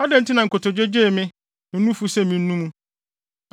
Adɛn nti na nkotodwe gyee me ne nufu sɛ minnum?